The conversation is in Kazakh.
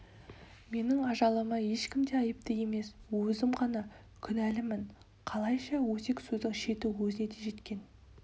менің ажалыма ешкім де айыпты емес өзім ғана күнәлімін қалайша өсек сөздің шеті өзіңе де жеткен